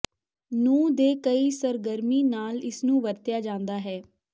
ਨੂੰ ਦੇ ਕਈ ਸਰਗਰਮੀ ਨਾਲ ਇਸ ਨੂੰ ਵਰਤਿਆ ਜਾਦਾ ਹੈ